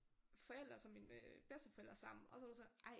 Forældre og så mine bedsteforædre sammen og så var det så ej